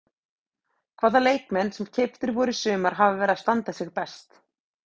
Hvaða leikmenn sem keyptir voru í sumar hafa verið að standa sig best?